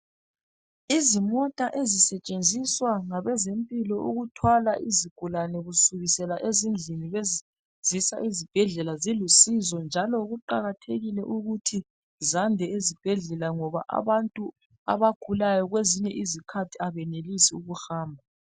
Izimota ezisetshenziswa ngabezempilo ukuthwala izigulane kusukisela ezindlini bezisa ezibhedlela zilusizo njalo kuqakathekile ukuthi zande ezibhedlela ngoba abantu abagulayo kwezinye izikhathi abenelisi ukuhamba.